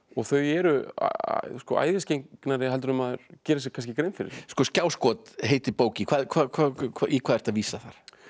þau eru heldur en maður gerir sér grein fyrir skjáskot heitir bókin í hvað ertu að vísa þar